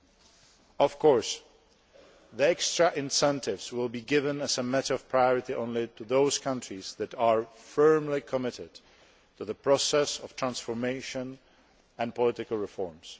2011. Of course, the extra incentives will be given as a matter of priority only to those countries that are firmly committed to the process of transformation and political reforms.